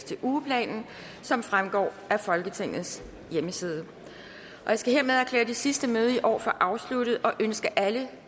til ugeplanen som fremgår af folketingets hjemmeside jeg skal hermed erklære det sidste møde i år for afsluttet og ønske alle